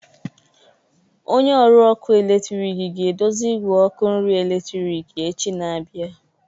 Onye ọrụ ọkụ eletrik ga-edozi igwe ọkụ nri eletrik echi na-abịa.